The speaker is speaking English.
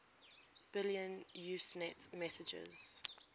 billion usenet messages